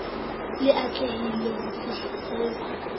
le e atlehileng ho fihlellwa